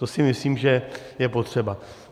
To si myslím, že je potřeba.